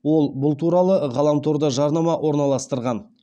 ол бұл туралы ғаламторда жарнама орналастырған